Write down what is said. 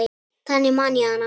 Þannig man ég hana.